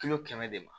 Kilo kɛmɛ de ma